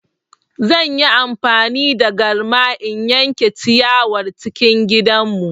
Zan yi amfani da garma in yanke ciyawar cikin gidanmu.